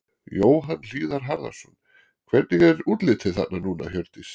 Jóhann Hlíðar Harðarson: Hvernig er útlitið þarna núna, Hjördís?